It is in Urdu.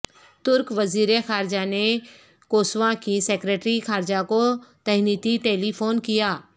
ترک وزیر خارجہ نے کوسووا کی سیکرٹری خارجہ کو تہنیتی ٹیلی فون کیا